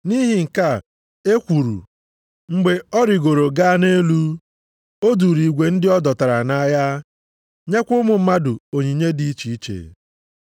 Nʼihi nke a, e kwuru, “Mgbe ọ rigoro gaa nʼelu, o duuru igwe ndị a dọtara nʼagha, nyekwa ụmụ mmadụ onyinye dị iche iche.” + 4:8 \+xt Abụ 68:18\+xt*